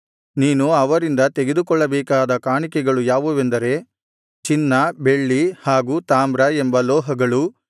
ನೀನು ಅವರಿಂದ ತೆಗೆದುಕೊಳ್ಳಬೇಕಾದ ಕಾಣಿಕೆಗಳು ಯಾವುವೆಂದರೆ ಚಿನ್ನ ಬೆಳ್ಳಿ ಹಾಗೂ ತಾಮ್ರ ಎಂಬ ಲೋಹಗಳು